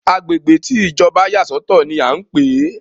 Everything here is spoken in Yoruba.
Agbègbè tí Ìjọba yà sọ̀tọ̀ ní a ń pé.